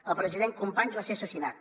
el president companys va ser assassinat